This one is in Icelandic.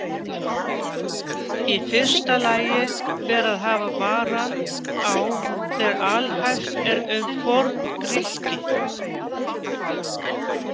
Í fyrsta lagi ber að hafa varann á þegar alhæft er um Forngrikki.